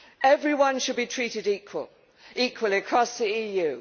Everyone should be treated equally across the